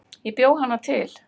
Ég bjó hana til